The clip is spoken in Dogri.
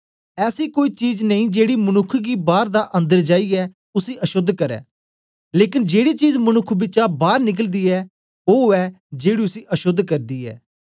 ऐसी कोई चीज नेई जेड़ी मनुक्ख गी बाअर दा अंदर जाईयें उसी अशोद्ध करै लेकन जेड़ी चीज मनुक्ख बिचा बार निकलदी ऐ ओ ऐ जेड़ी उसी अशोद्ध करदी ऐ